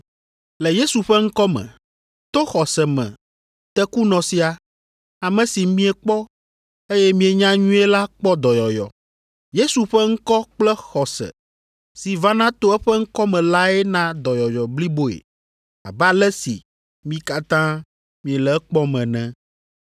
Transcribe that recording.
“Le Yesu ƒe ŋkɔ me, to xɔse me tekunɔ sia, ame si miekpɔ, eye mienya nyuie la kpɔ dɔyɔyɔ. Yesu ƒe ŋkɔ kple xɔse si vana to eƒe ŋkɔ me lae na dɔyɔyɔ bliboe abe ale si mi katã miele ekpɔm ene.